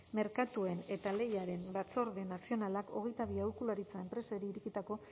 merkatuen eta lehiaren batzorde nazionalak hogeita bi aholkularitza enpresari irekitako